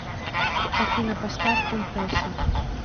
афина поставь ун песо